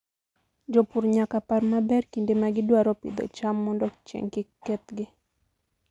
Jopur nyaka par maber kinde ma gidwaro pidho cham mondo chieng' kik kethgi.